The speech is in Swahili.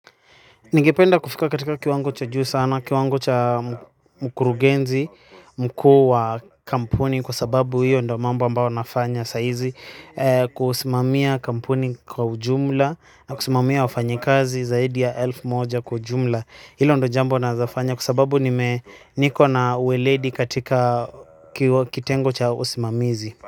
Ningependa kufika katika kiwango cha juu sana, kiwango cha mkurugenzi, mkuu wa kampuni kwa sababu hiyo ndo mambo ambao nafanya saizi kusimamia kampuni kwa ujumla na kusimamia wafanyikazi zaidi ya elfu moja kwa ujumla. Hilo ndo jambo naezafanya kwa sababu niko na uweledi katika kitengo cha usimamizi.